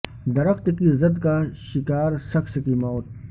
درخت کی زد کا شکار شخص کی موت